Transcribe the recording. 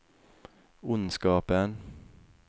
ondskapen